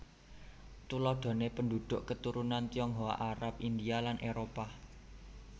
Tuladhané penduduk keturunan Tionghoa Arab India lan Éropah